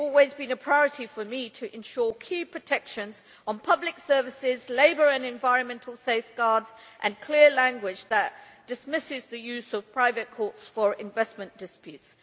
It has always been a priority for me to ensure key protections on public services, labour and environmental safeguards, and clear language that dismisses the use of private courts for investment disputes.